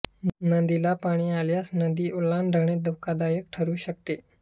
नदीला पाणी असल्यास नदी ओलांडणे धोकादायक ठरु शकते